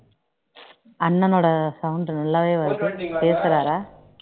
அண்ணனோட sound நல்லாவே வருது பேசுறாரா